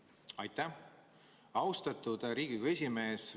Aitäh, austatud Riigikogu esimees!